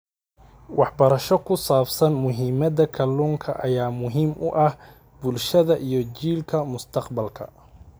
Waxbarasho ku saabsan muhiimadda kalluunka ayaa muhiim u ah bulshada iyo jiilalka mustaqbalka.